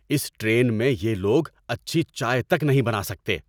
اس train میں یہ لوگ اچھی چائے تک نہیں بنا سکتے!